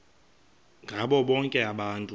ngabo bonke abantu